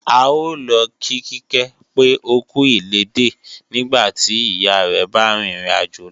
A ó lọ kí Kíkẹ́ pé ókú ilédè nígbàtí ìyá rẹ̀ bá rìn ìrìn àjò lọ